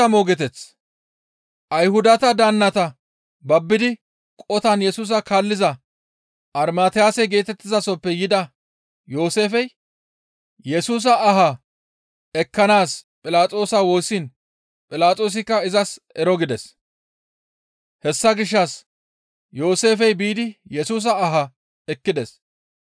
Ayhudata daannata babbidi qotan Yesusa kaalliza Armatiyase geetettizasoppe yida Yooseefey Yesusa aha ekkanaas Philaxoosa woossiin Philaxoosikka izas ero gides. Hessa gishshas Yooseefey biidi Yesusa aha ekkides.